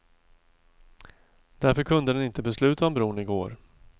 Därför kunde den inte besluta om bron i går.